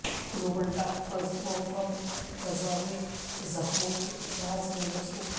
global doctors وفد Gaza میں زخمیوں کے علاج میں مصروف